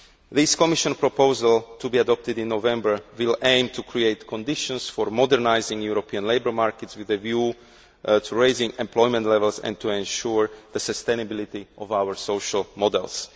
This Commission proposal, to be adopted in November, will aim to create conditions for modernising European labour markets, with a view to raising employment levels and to ensuring the sustainability of our social models.